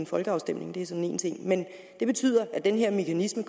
folkeafstemning det er så én ting men det betyder at den her mekanisme